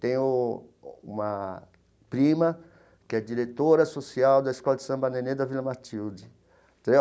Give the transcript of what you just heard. Tenho uma prima que é diretora social da Escola de Samba Nenê da Vila Matilde entendeu.